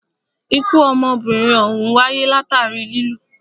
Ikú ọmọbìnrin òhún wáyé látàri lilù.